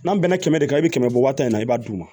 N'an bɛn na kɛmɛ kɛmɛ i bi kɛmɛ bɔ waati min na i b'a d'u ma